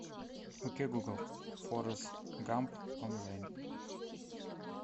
окей гугл форест гамп онлайн